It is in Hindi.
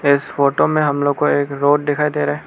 इस फोटो में हम लोगो को एक रोड दिखाई दे रहा है।